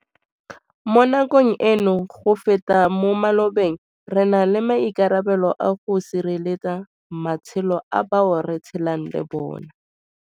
Mo nakong eno, go feta mo malobeng, re na le maikarabelo a go sireletsa matshelo a bao re tshelang le bona.